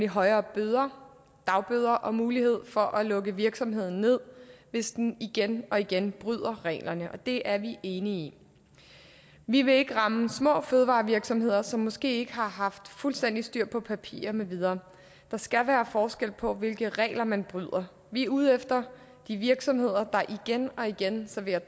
højere bøder dagbøder og mulighed for at lukke virksomheden ned hvis den igen og igen bryder reglerne og det er vi enige i vi vil ikke ramme små fødevarevirksomheder som måske ikke har haft fuldstændig styr på papirer med videre der skal være forskel på hvilke regler man bryder vi er ude efter de virksomheder der igen og igen serverer